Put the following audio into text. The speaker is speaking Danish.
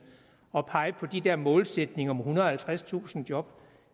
at pege på de der målsætninger om ethundrede og halvtredstusind job